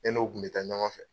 E n'o kun bɛ taa ɲɔgɔn fɛ.